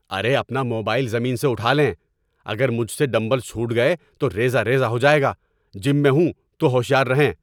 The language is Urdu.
ارے اپنا موبائل زمین سے اٹھا لیں، اگر مجھ سے ڈمبلز چھوٹ گئے تو ریزہ ریزہ ہو جائے گا، جم میں ہوں تو ہوشیار رہیں۔